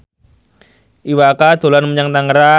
Iwa K dolan menyang Tangerang